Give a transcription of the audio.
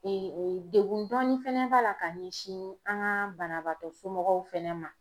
degun dɔɔni fana b'a la ka ɲɛsin an ka banabaatɔ somɔgɔw fɛnɛ ma.